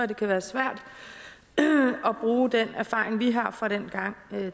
det kan være svært at bruge den erfaring vi har fra dengang